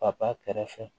Papa kɛrɛ fɛ